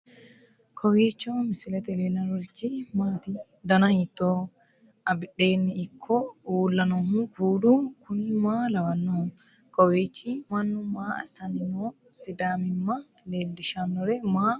kowiicho misilete leellanorichi maati ? dana hiittooho ?abadhhenni ikko uulla noohu kuulu kuni maa lawannoho? kawiicho mannu maa assanni no sidaamimma leellishshannore maa uddidhe no